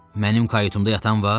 Mənim kayutumda yatan var?